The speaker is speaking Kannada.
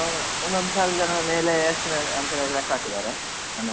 ಒಂದು ಸಾವಿರ ಜನ ಮೇಲೆ estimate ಅಂತ ಲೆಕ್ಕ ಹಾಕಿದ್ದಾರೆ ಮನೇಲೆಲ್ಲ.